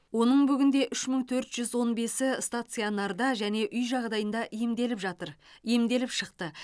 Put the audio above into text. оның бүгінде үш мың төрт жүз он бесі стационарда және үй жағдайында емделіп жатыр емделіп шықты